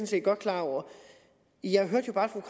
set godt klar over jeg hørte bare